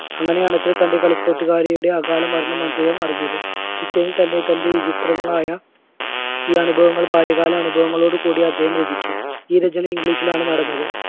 അങ്ങനെയാണ് ത~തൻറെ കളിക്കൂട്ടുകാരിയുടെ അകാലമരണം അദ്ദേഹം അറിഞ്ഞത്. പിറ്റേന്ന് തന്നെ തന്റെ വിചിത്രങ്ങളായ ഈ അനുഭവങ്ങൾ ബാല്യകാല അനുഭവങ്ങളോടുകൂടി അദ്ദേഹം രചിച്ചു. ഈ രചന english ലാണ് നടന്നത്.